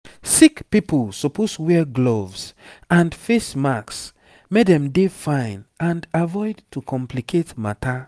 sick pipo suppose wear gloves and face masks make dem dey fine and avoid to complicate matter